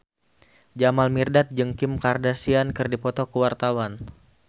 Jamal Mirdad jeung Kim Kardashian keur dipoto ku wartawan